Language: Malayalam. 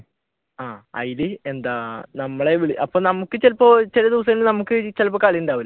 ആഹ് അതിൽ എന്താ നമ്മളെ അപ്പൊ നമുക്ക് ചിലപ്പോ ചില ദിവസങ്ങളിൽ നമുക്ക് ചിലപ്പോ കളി ഉണ്ടാവില്ല